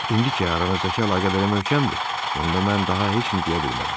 İndi ki, aranızdakı əlaqə belə möhkəmdir, onda mən daha heç nə deyə bilmərəm.